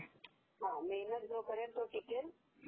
is not Clear